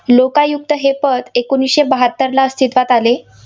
लोकायुक्त हे पद एकोणीसशे बहात्तरला अस्तित्वात आले.